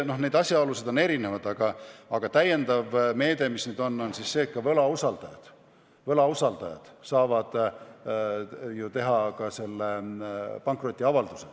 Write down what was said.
Nii et asjaolusid on erinevaid, aga lisameede on nüüd see, et võlausaldajad saavad teha ka selle pankrotiavalduse.